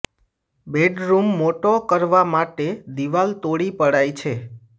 bedroom મોટો કરવા માટે દીવાલ તોડી પડાઇ છે